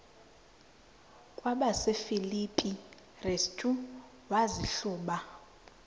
kwabasefilipi restu wazihluba